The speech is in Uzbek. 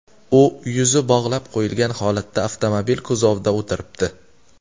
U yuzi bog‘lab qo‘yilgan holatda avtomobil kuzovida o‘tiribdi.